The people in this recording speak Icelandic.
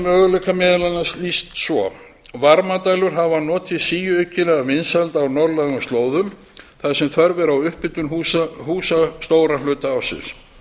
möguleika meðal annars lýst svo varmadælur hafa notið síaukinna vinsælda á norðlægum slóðum þar sem þörf er á upphitun húsa stóran hluta ársins